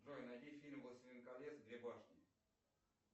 джой найди фильм властелин колец две башни